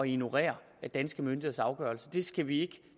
ignorere danske myndigheders afgørelse det kan vi ikke